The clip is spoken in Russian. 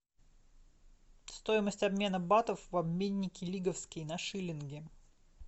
стоимость обмена батов в обменнике лиговский на шиллинги